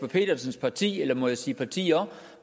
petersens parti eller må jeg sige partier